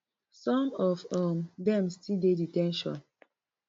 some of um dem still dey de ten tion